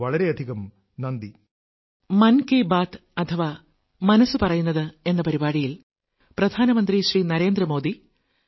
വളരെയധികം നന്ദി